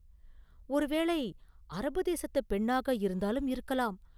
ஒருவேளை அரபு தேசத்துப் பெண்ணாக இருந்தாலும் இருக்கலாம்.